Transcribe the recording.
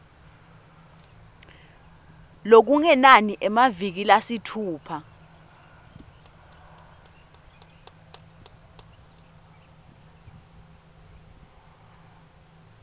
lokungenani emaviki lasitfupha